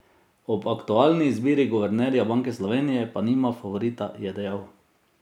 Ob aktualni izbiri guvernerja Banke Slovenije pa nima favorita, je dejal.